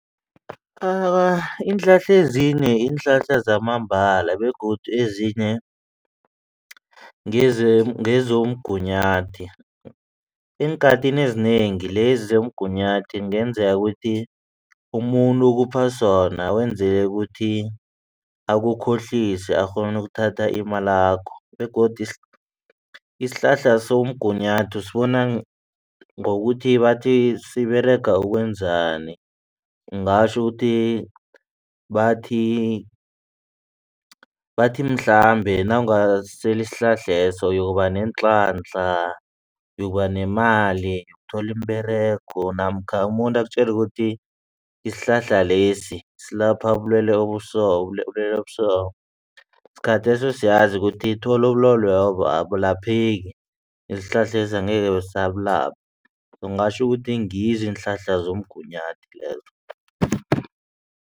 Awa, iinhlahla ezinye ziinhlahla zamambala begodu ezinye ngezomgunyathi. Eenkhathini ezinengi lezi zomgunyathi kungenzeka ukuthi umuntu ukupha sona wenzelela ukuthi akukhohlise akghone ukuthatha imalakho begodu isihlahla somgunyathi sibona ngokuthi bathi siberega ukwenzani. Ngatjho ukuthi bathi bathi mhlambe nawungasela isihlahleso uyoba neenhlanhla yokuba nemali uthole iimberego namkha umuntu akutjele ukuthi isihlahla lesi silapha ubulwelwe obuso ubulwelwe obuso. Sikhatheso siyazi ukuthi uthole ubulwelobo abulapheki isihlahles angeke sisabulapha singatjho ukuthi ngizo iinhlahla zomgunyathi lezo.